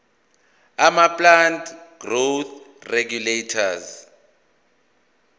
amaplant growth regulators